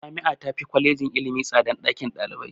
Jami'a tafi Kwalejin ilimi tsadan ɗakin ɗalibai.